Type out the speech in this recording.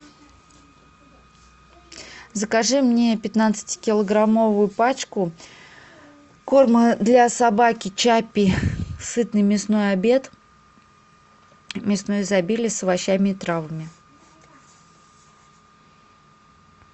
закажи мне пятнадцатикилограммовую пачку корма для собаки чаппи сытный мясной обед мясное изобилие с овощами и травами